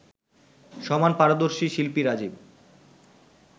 সমান পারদর্শী শিল্পী রাজিব